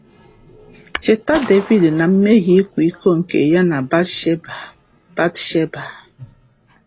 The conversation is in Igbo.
Cheta Devid na mmehie ịkwa iko nke ya na Batsheba. Batsheba.